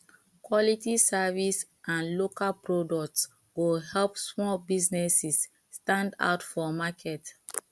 quality service and local products go help small businesses stand out for market